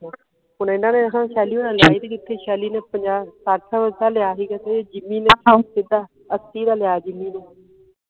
ਹੁਣ ਇਹਨਾਂ ਨੇ ਨਾ ਸ਼ੈਲੀ ਹੋਣਾ ਸਹੇਲੀ ਨੇ ਪੰਜਾਹ ਸੱਠ ਦਾ ਲਿਆ ਸੀ ਗਾ ਤੇ ਜਿੰਮੀ ਨੇ ਸਿੱਧਾ ਅੱਸੀ ਦਾ ਲਿਆ ਜਿੰਮੀ ਨੇ